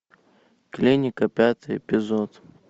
клиника пятый эпизод